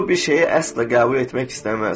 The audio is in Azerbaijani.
Eqo bir şeyi əsla qəbul etmək istəməz.